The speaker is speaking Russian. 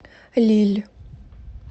лилль